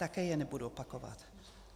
Také je nebudu opakovat.